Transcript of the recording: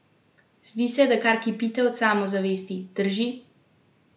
Zdi se, da kar kipite od samozavesti, drži?